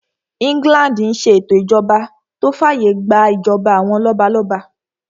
England n ṣe ètò ìṣèjọba tó fàyè gbà ìjọba àwọn lọ́balọ́ba